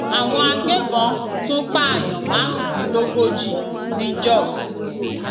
àwọn agbébọn tún pààyàn márùndínlógójì ní jóṣ